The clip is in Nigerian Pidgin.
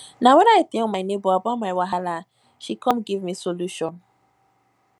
na wen i tell my nebor about my wahala she come give me solution